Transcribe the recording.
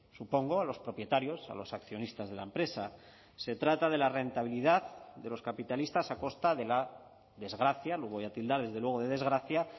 supongo a los propietarios a los accionistas de la empresa se trata de la rentabilidad de los capitalistas a costa de la desgracia lo voy a tildar desde luego de desgracia